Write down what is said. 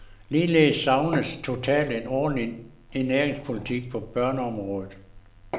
Ligeledes savnes totalt en ordentlig ernæringspolitik på børneområdet.